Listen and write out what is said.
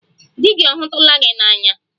Di gị ọ hụtụla gị n'anya